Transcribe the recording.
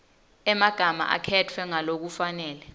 emagama akhetfwe ngalokufanele